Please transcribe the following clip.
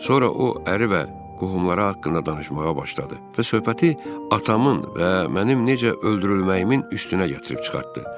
Sonra o əri və qohumları haqqında danışmağa başladı və söhbəti atamın və mənim necə öldürülməyimin üstünə gətirib çıxartdı.